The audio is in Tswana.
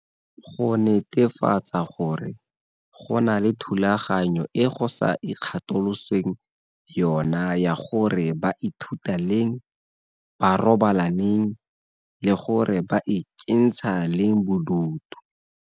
Go netefatsa gore go na le thulaganyo e go sa ikgatolosweng yona ya gore ba ithuta leng, ba robala neng le gore ba ikentsha leng bodutu.